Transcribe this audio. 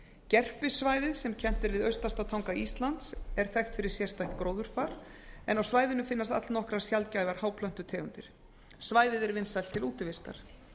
gerpissvæðið sem kennt er við austasta tanga íslands er þekkt fyrir sérstætt gróðurfar en á svæðinu finnast allnokkrar sjaldgæfar háplöntutegundir svæðið er vinsælt til útivistar